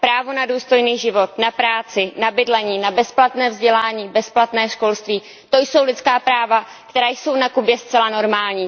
Právo na důstojný život, na práci, na bydlení, na bezplatné vzdělání, bezplatné školství, to jsou lidská práva, která jsou na Kubě zcela normální.